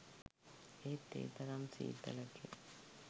ඒත් ඒ තරම් සීතලකින්